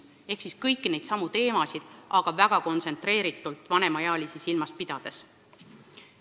Seega hõlmab see kõiki neidsamu teemasid, aga väga kontsentreeritult ja vanemaealisi silmas pidades.